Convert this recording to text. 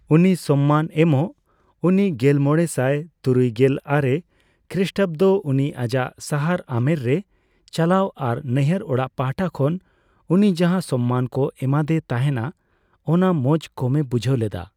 ᱩᱱᱤ ᱥᱚᱢᱢᱟᱱ ᱮᱢᱚᱜ ᱩᱱᱤ ᱜᱮᱞᱢᱚᱲᱮ ᱥᱟᱭ ᱛᱩᱨᱩᱭᱜᱮᱞ ᱟᱨᱮ ᱠᱷᱨᱤᱥᱴᱟᱵᱫᱚ ᱩᱱᱤ ᱟᱡᱟᱜ ᱥᱟᱦᱟᱨ ᱟᱢᱮᱨ ᱨᱮ ᱪᱟᱞᱟᱣ ᱟᱨ ᱱᱟᱹᱭᱦᱟᱹᱨ ᱚᱲᱟᱜ ᱯᱟᱦᱴᱟ ᱠᱷᱚᱱ ᱩᱱᱤ ᱡᱟᱦᱟ ᱥᱚᱢᱢᱟᱱᱠᱚ ᱮᱢᱟ ᱫᱮ ᱛᱟᱦᱮᱸᱱᱟ, ᱚᱱᱟ ᱢᱚᱸᱡ ᱠᱚᱢᱮ ᱵᱩᱡᱷᱟᱹᱣ ᱞᱮᱫᱟ᱾